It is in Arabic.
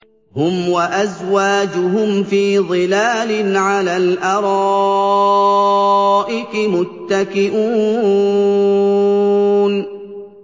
هُمْ وَأَزْوَاجُهُمْ فِي ظِلَالٍ عَلَى الْأَرَائِكِ مُتَّكِئُونَ